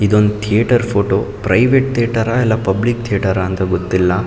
ಇದೊಂದು theatre photo private theatre ಇಲ್ಲಾ public theatre ಅಂತ ಗೊತ್ತಿಲ್ಲಾ.